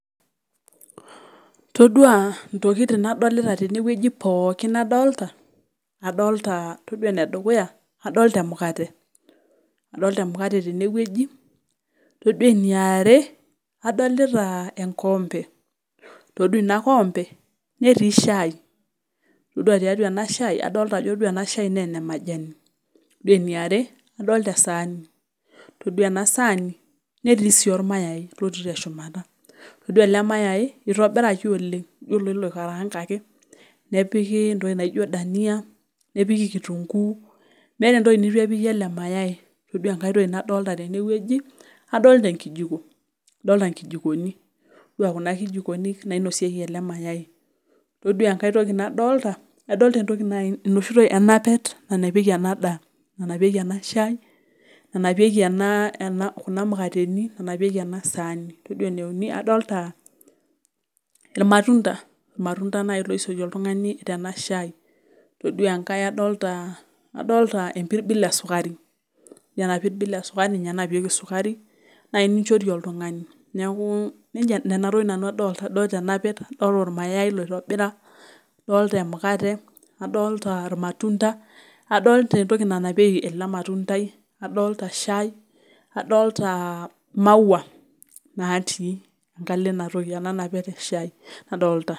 Toduaa intokitin nadolita teene wueji pookin nadolita, adolta emukate, adolta emukate teene wueji, toduaa eniare adolita emukate, toduaa ina koompe neti shaai. Todua eena shaai naa kadolta aajo ene majani. iyiolo eniare adolta esaani, oore eena sani netii ormayai. Toduaa eele mayai neitobiraki oleng elioo aajo ekarangaki nepiki entoki naijo dania, nepiki kitunguu meeta entoki neitu epiki eele mayai. Toduaa enkae toki nadolta teene wueji adolta enkijiko. Adolta inkijikoni, toduaa kuna kijikoni nainosieki eele mayai. Todaa enkae toki nadolta adolta eng'apet, nanapieki eena daa, nanapieki een ashaai, nanapieki kuna mukateni. Toduaa eneuni adolta irmatunda. Irmatunda, naaji loisotie oltung'ani eena shaai. Todua enkae adolta, adolta empirbil e sukari. Iyiolo eena pirbil esukari ninye enapieki esukari, naai nichorie oltung'ani. Niaku ne atokitin nanu adolta.